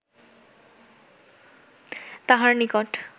তাহার নিকট